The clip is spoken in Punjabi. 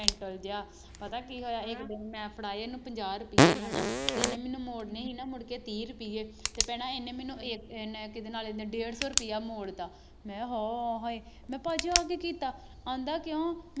mental ਜਿਹਾ ਪਤਾ ਕੀ ਹੋਇਆ ਇੱਕ ਦਿਨ ਮੈਂ ਫੜਾਏ ਇਹਨੂੰ ਪੰਜਾਹ ਰੁਪਈਏ ਹਨਾ ਅਤੇ ਇਹਨੇ ਮੈਨੂੰ ਮੋੜਨੇ ਸੀ ਨਾ ਮੁੜਕੇ ਤੀਹ ਰੁਪਈਏ, ਅਤੇ ਭੈਣਾ ਇਹਨੇ ਮੈਨੂੰ ਇਹ ਇਹਨੇ ਕਿਹਦੇ ਨਾਲ ਇਹਨੇ ਡੇਢ ਸੌ ਰੁਪਇਆ ਮੋੜ ਤਾ, ਮੈਂ ਕਿਹਾ ਹਾਅ, ਹਾਏ, ਮੈਂ ਕਿਹਾ ਭਾਅ ਜੀ ਆਹ ਕੀ ਕੀਤਾ, ਕਹਿੰਦਾ ਕਿਉਂ